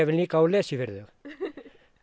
líka og lesi fyrir þau